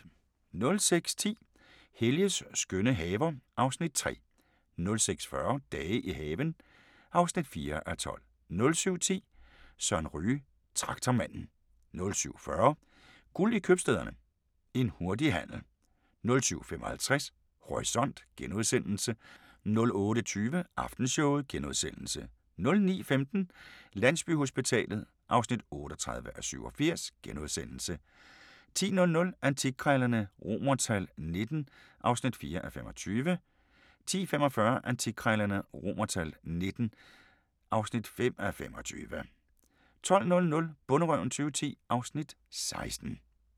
06:10: Helges skønne haver (Afs. 3) 06:40: Dage i haven (4:12) 07:10: Søren Ryge: Traktormanden 07:40: Guld i købstæderne – En hurtig handel 07:55: Horisont * 08:20: Aftenshowet * 09:15: Landsbyhospitalet (38:87)* 10:00: Antikkrejlerne XVIIII (4:25) 10:45: Antikkrejlerne XVIIII (5:25) 12:00: Bonderøven 2010 (Afs. 16)